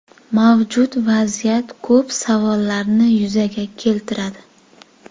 Mavjud vaziyat ko‘p savollarni yuzaga keltiradi.